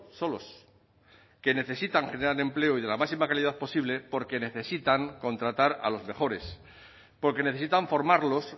solos que necesitan generar empleo y de la máxima calidad posible porque necesitan contratar a los mejores porque necesitan formarlos